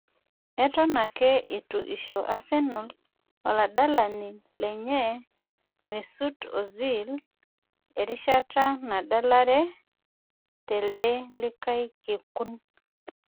Eton ake eitu isho asenal oladalani lenye Mesut Ozil erishata nadalare telde likae kekun